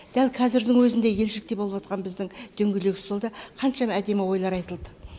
дәл қазірдің өзінде елшілікте болыватқан біздің дөңгелек столда қаншама әдемі ойлар айтылды